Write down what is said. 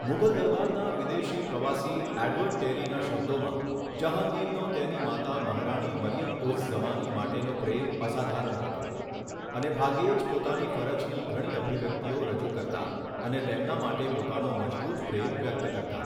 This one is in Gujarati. મુઘલ દરબારના વિદેશી પ્રવાસી એડવર્ડ ટેરીના શબ્દોમાં, જહાંગીરનો તેની માતા મહારાણી મરિયમ ઉઝ ઝમાની માટેનો પ્રેમ અસાધારણ હતો, અને ભાગ્યે જ પોતાની ફરજની ઘણી અભિવ્યક્તિઓ રજૂ કરતા અને તેમના માટે પોતાનો મજબૂત પ્રેમ વ્યક્ત કરતા